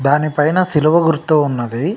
దాని పైన సిలువ గుర్తు ఉన్నదీ.